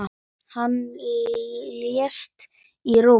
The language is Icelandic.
Hann lést í Róm.